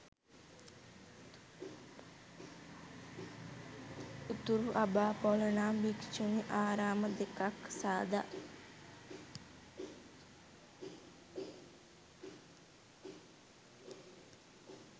උතුරු අබාපොල නම් භික්‍ෂුණී ආරාම දෙකක් සාදා